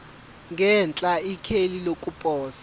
ngenhla ikheli lokuposa